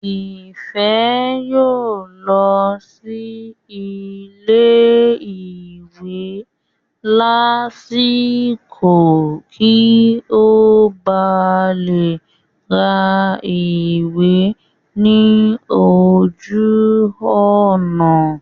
Ìfẹ́ yóò lọ sí ilé ìwé lásìkò kí ó ba lè ra ìwé ní ojú ọ̀nà rẹ̀